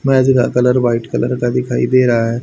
मैज का colour white colour का दिखाई दे रहा है।